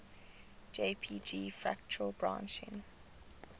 jpg fractal branching